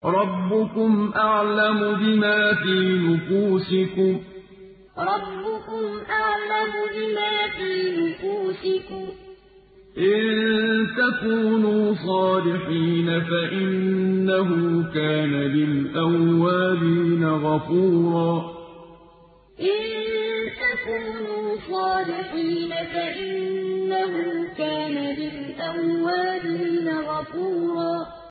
رَّبُّكُمْ أَعْلَمُ بِمَا فِي نُفُوسِكُمْ ۚ إِن تَكُونُوا صَالِحِينَ فَإِنَّهُ كَانَ لِلْأَوَّابِينَ غَفُورًا رَّبُّكُمْ أَعْلَمُ بِمَا فِي نُفُوسِكُمْ ۚ إِن تَكُونُوا صَالِحِينَ فَإِنَّهُ كَانَ لِلْأَوَّابِينَ غَفُورًا